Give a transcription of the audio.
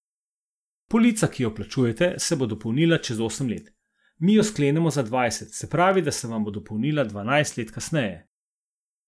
Polica, ki jo plačujete, se bo dopolnila čez osem let, mi jo sklenemo za dvajset, se pravi se vam bo dopolnila dvanajst let kasneje.